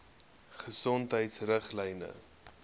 gesondheidriglyne